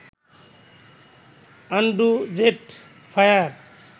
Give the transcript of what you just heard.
Andrew Z fire